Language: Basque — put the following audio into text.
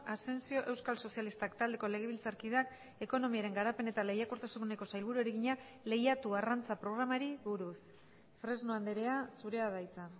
asensio euskal sozialistak taldeko legebiltzarkideak ekonomiaren garapen eta lehiakortasuneko sailburuari egina lehiatu arrantza programari buruz fresno andrea zurea da hitza